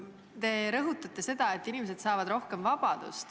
Te rõhutate seda, et inimesed saavad rohkem vabadust.